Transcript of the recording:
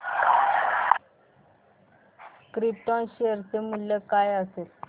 krypton share चे मूल्य काय असेल